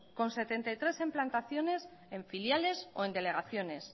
con setenta y tres implantaciones en filiales o en delegaciones